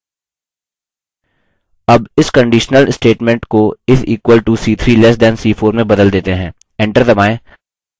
अब इस conditional statement को is equal to c3 less than c4 में बदल देते हैं